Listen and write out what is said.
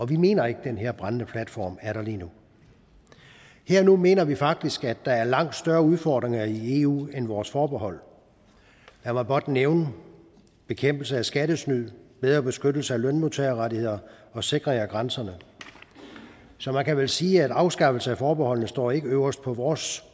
vi mener ikke den her brændende platform er der lige nu her og nu mener vi faktisk at der er langt større udfordringer i eu end vores forbehold lad mig blot nævne bekæmpelse af skattesnyd bedre beskyttelse af lønmodtagerrettigheder og sikring af grænserne så man kan vel sige at en afskaffelse af forbeholdene ikke står øverst på vores